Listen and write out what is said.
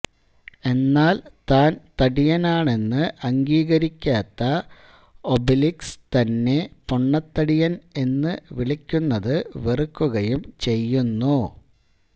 എന്നാൽ താൻ തടിയനാണെന്ന് അംഗീകരിക്കാത്ത ഒബെലിക്സ് തന്നെ പൊണ്ണത്തടിയൻ എന്ന് വിളിക്കുന്നത് വെറുക്കുകയും ചെയ്യുന്നു